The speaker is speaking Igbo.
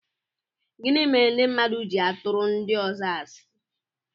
Gịnị mere ndị mmadụ ji-atụru ndi ọzọ asi?